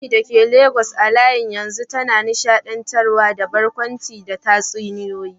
Funmi dake Legas a halin yanzu tana nishaɗantarwa da barkwanci da tatsuniyoyi.